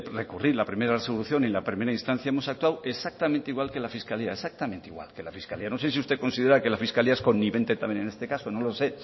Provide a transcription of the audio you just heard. recurrir la primera resolución en la primera instancia hemos sacado exactamente igual que la fiscalía exactamente igual que la fiscalía no sé si usted considera que la fiscalía es también en este caso no lo sé